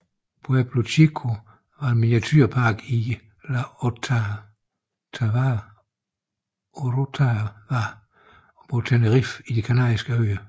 Pueblo Chico var en miniaturepark i La Orotava på Tenerife i De kanariske øer